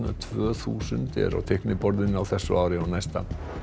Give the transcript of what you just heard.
tvö þúsund eru á teikniborðinu á þessu ári og næsta